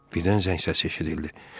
Birdən zəng səsi eşidildi.